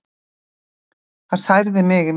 Það særði mig mikið.